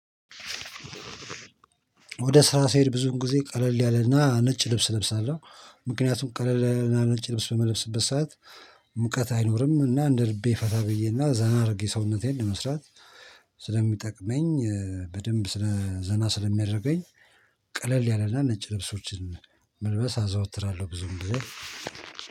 ወደ ስራ ስሄድ ብዙውን ጊዜ ቀለል ያለ እና ነጭ ልብስ ለብሳለው ምክንያቱም ቀለል ያለ እና ነጭ ልብስ በምለብስበት ሰዓት ሙቀት አይኖርም እና እንደ ልቤ ፈታ ብዬ እና ዘና አርጌ ሰውነቴን ለመስራት ስለሚጠቅመኝ በደንብ ስለ ዘና ስለሚያደርገኝ። ቀለል ያለ እና ነጭ ልብሶችን መልበስ አዘወትራለሁ ብዙውን ጊዜ።